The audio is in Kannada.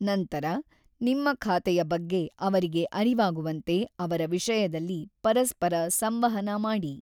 ನಂತರ, ನಿಮ್ಮ ಖಾತೆಯ ಬಗ್ಗೆ ಅವರಿಗೆ ಅರಿವಾಗುವಂತೆ ಅವರ ವಿಷಯದಲ್ಲಿ ಪರಸ್ಪರ ಸಂವಹನ ಮಾಡಿ.